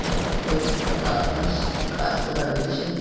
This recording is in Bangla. চা গা সাদা আকাশ গাছপালা রয়েছে।